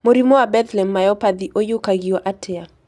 Mũrimũ wa Bethlem myopathy ũiyũkagio atĩa